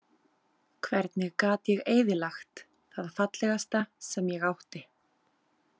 Hvernig gat ég eyðilagt það fallegasta sem ég átti?